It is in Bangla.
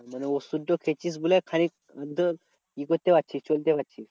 মানে ওষুধ তো খেয়েছিস বলে খানিক ই করতে পারছিস চলতে পারছিস।